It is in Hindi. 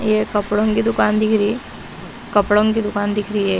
ये कपड़ों की दुकान दिख रही कपड़ों की दुकान दिख रही है।